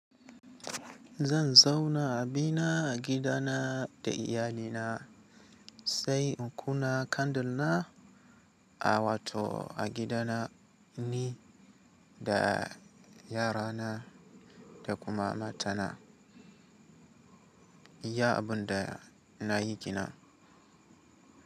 Zan zauna a bina a gidana da iyalina, sai in kuna candle na a wato a gidana ni da yarana da kuma matana. Iya abun da na yi kina.